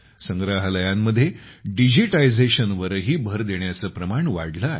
संग्रहालयांमध्ये डिजिटायझेशनवरही भर देण्याचे प्रमाण वाढले आहे